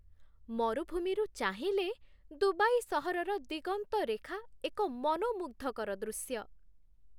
ମରୁଭୂମିରୁ ଚାହିଁଲେ, ଦୁବାଇ ସହରର ଦିଗନ୍ତରେଖା ଏକ ମନୋମୁଗ୍ଧକର ଦୃଶ୍ୟ।